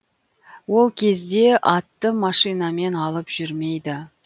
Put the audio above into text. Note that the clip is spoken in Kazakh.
ол кезде атты машинамен алып жүрмейді